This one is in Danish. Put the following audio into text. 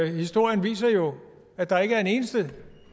historien viser jo at der ikke er en eneste